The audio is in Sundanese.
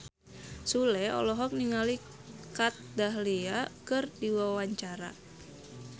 Sule olohok ningali Kat Dahlia keur diwawancara